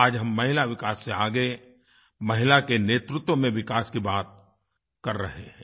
आज हम महिला विकास से आगे महिला के नेतृत्व में विकास की बात कर रहे हैं